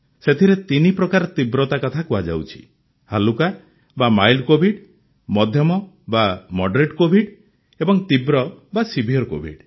ସେଥିରେ ତିନି ପ୍ରକାର ତୀବ୍ରତା କଥା କୁହାଯାଇଛି ହାଲ୍କା ବା ମାଇଲ୍ଡ କୋଭିଡ୍ ମଧ୍ୟମ ବା ମଡ୍ରେଟ୍ କୋଭିଡ୍ ଏବଂ ତୀବ୍ର ବା ସିଭିୟର୍ କୋଭିଡ୍